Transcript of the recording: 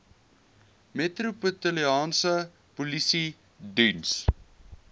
metropolitaanse polisie diens